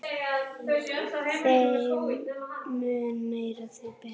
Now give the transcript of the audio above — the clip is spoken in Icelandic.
Þeim mun meira, því betra.